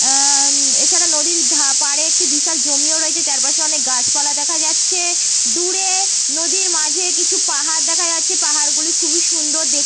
আআ এছাড়া নদীর ধ পারে একটি বিশাল জমিও রয়েছে। চারপাশে অনেক গাছপালা দেখা যাচ্ছে। দূরে নদীর মাঝে কিছু পাহাড় দেখা যাচ্ছে। পাহাড়গুলি খুবই সুন্দর দেখ --